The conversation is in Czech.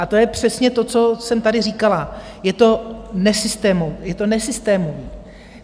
A to je přesně to, co jsem tady říkala - je to nesystémové.